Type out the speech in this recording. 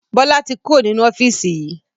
Bọlá tí kúrò nínú ofiisi yìí